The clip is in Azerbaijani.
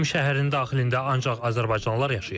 Qədim şəhərin daxilində ancaq azərbaycanlılar yaşayır.